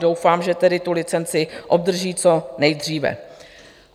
Doufám, že tedy tu licenci obdrží co nejdříve.